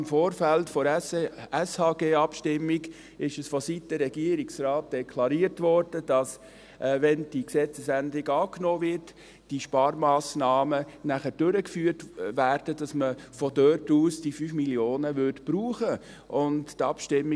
Im Vorfeld der Abstimmung über das Gesetz über die öffentliche Sozialhilfe (Sozialhilfegesetz, SHG) wurde vonseiten Regierungsrat deklariert, dass, wenn die Gesetzesänderung angenommen wird, diese Sparmassnahmen nachher durchgeführt werden und man daher diese 5 Mio. Franken brauchen werde.